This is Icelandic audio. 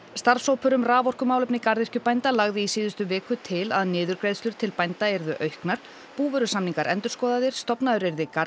starfshópur um raforkumálefni garðyrkjubænda lagði í síðustu viku til að niðurgreiðslur til bænda yrðu auknar búvörusamningar endurskoðaðir stofnaður yrði